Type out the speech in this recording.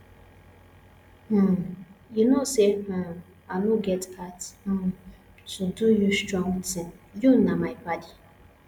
um you know say um i no get heart um to do you strong thing you na my paddy